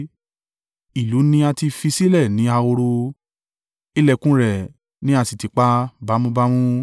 Ìlú ni a ti fi sílẹ̀ ní ahoro, ìlẹ̀kùn rẹ̀ ni a sì tì pa bámú bámú.